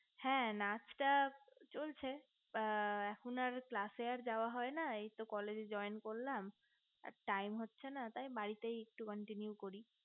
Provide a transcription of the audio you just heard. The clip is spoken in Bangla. হ্যা নাচটা চলছে এখন আর class এ আর যাওয়া হয় না এইতো college এ joint করলাম আর time হয় না তাই বাড়িতে একটু continue করি